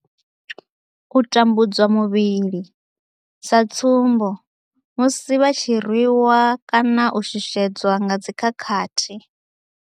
U tambudzwa muvhili, sa tsumbo, musi vha tshi rwi wa kana u shushedzwa nga dzi khakhathi.